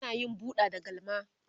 ana yin buɗa da galma